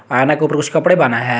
आयना के ऊपर कुछ कपड़े बान्हा है।